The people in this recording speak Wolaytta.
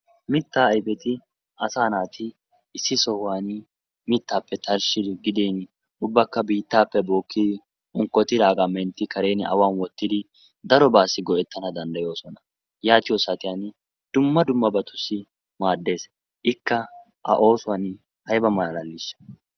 Mittaa ayfeti asaa naati issi sohuwani mittaappe tarshshidi gidiini ubbakka biittaappe bookkidi unkkotidaagaa mentti karen awan wottidi darobaassi go"ettana danddayoosona. Yaatiyo saatiyan dumma dummabatussi maaddes. Ikka a oosuwan ayba malaaliishsha!